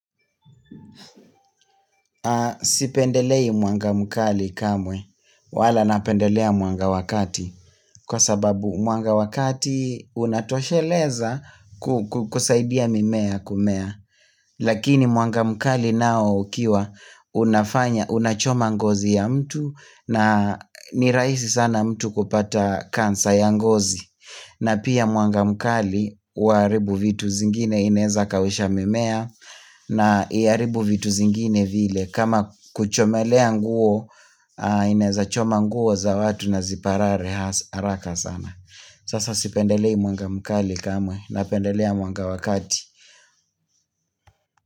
Sipendelei mwanga mkali kamwe wala napendelea mwanga wa kati kwa sababu muanga wakati unatosheleza kusaidia mimea kumea lakini mwanga mkali nao ukiwa unafanya unachoma ngozi ya mtu na ni raisi sana mtu kupata kansa ya ngozi na pia mwanga mkali huaribu vitu zingine inaweza kausha mimea na hiaribu vitu zingine vile kama kuchomelea nguo inaeza choma nguo za watu na ziparare haraka sana. Sasa sipendelei mwanga mkali kama napendelea mwanga wa wakati.